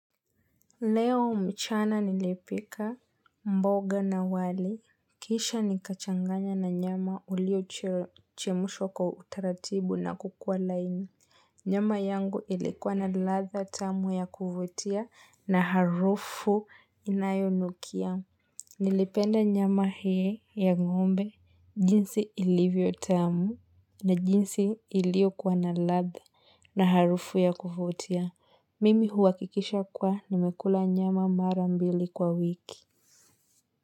Leo mchana nilipika mboga na wali. Kisha nikachanganya na nyama uliochemshwa kwa utaratibu na kukua laini. Nyama yangu ilikuwa na ladha tamu ya kuvutia na harufu inayonukia. Nilipenda nyama hii ya ngombe jinsi ilivyo tamu na jinsi ilikuwa na ladha na harufu ya kuvutia. Mimi huhakikisha kua nimekula nyama mara mbili kwa wiki.